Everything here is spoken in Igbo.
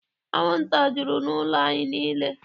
Anwụnta jụrụ n'ụlọ anyị niile.